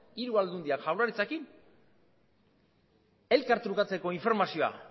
hiru aldundiak jaurlaritzarekin elkartrukatzeko informazioa